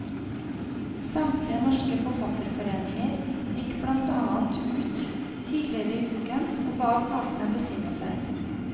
Samtlige norske forfatterforeninger gikk blant annet ut tidligere i uken og ba partene besinne seg.